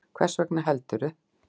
Hvers vegna heldurðu?